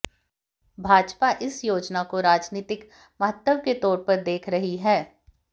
भाजपा इस योजना को राजनीतिक महत्व के तौर पर देख रही है